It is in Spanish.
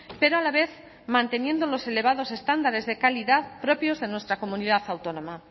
pero a la vez manteniendo unos elevados estándares de calidad propios de nuestra comunidad autónoma